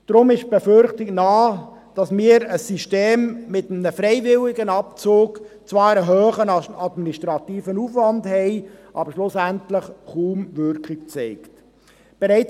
Deshalb liegt die Befürchtung nahe, dass wir mit einem System mit einem freiwilligen Abzug zwar einen hohen administrativen Aufwand hätten, der schlussendlich aber kaum eine Wirkung erzielen würde.